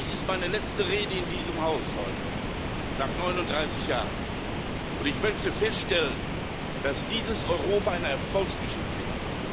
Dies ist heute meine letzte Rede in diesem Haus nach 39 Jahren und ich möchte feststellen, dass dieses Europa eine Erfolgsgeschichte ist.